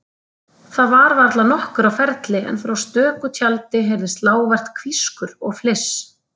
Þar var varla nokkur á ferli en frá stöku tjaldi heyrðist lágvært hvískur og fliss.